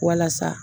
Walasa